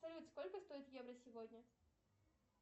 салют сколько стоит евро сегодня